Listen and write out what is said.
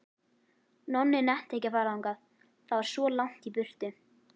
Nonni nennti ekki að fara þangað, það var svo langt í burtu.